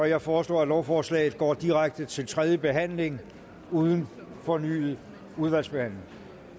jeg foreslår at lovforslaget går direkte til tredje behandling uden fornyet udvalgsbehandling